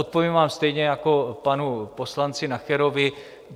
Odpovím vám stejně jako panu poslanci Nacherovi.